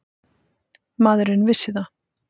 Maðurinn vissi það.